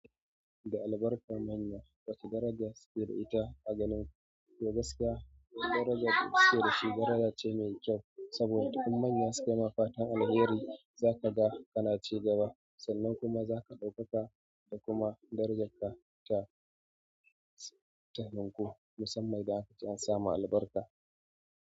Da albarkan manya, wacce daraja suke ita a ganin ku? Gaskiya, darajar da suke da shi daraja ce mai kyau saboda in manya suke mafatan alheri za ka ga kana cigaba sannan kuma za ka ɗaukaka da kuma darajarka ta, ta ninku musamman idan an samu albarka.